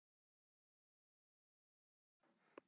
Heiða fór að hlæja.